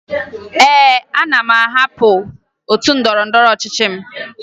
Ee, ana m ahapụ otu ndọrọndọrọ ọchịchị m